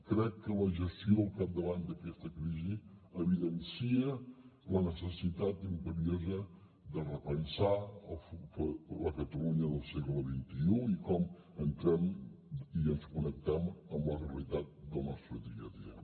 crec que la gestió al capdavant d’aquesta crisi evidencia la necessitat imperiosa de repensar la catalunya del segle xxi i com hi entrem i ens connectem amb la realitat del nostre dia a dia